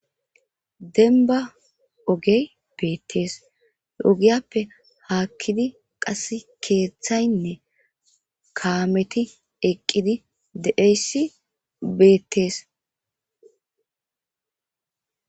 Demba ogey betes he ogiyape hakidi qasi kethayne kameti eqidi de'iyaysi betes.